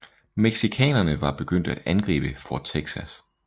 Mexicanerne var begyndt at angribe Fort Texas